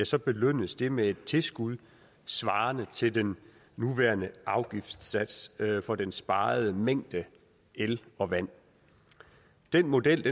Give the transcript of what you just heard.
så belønnes de med et tilskud svarende til den nuværende afgiftssats for den sparede mængde el og vand den model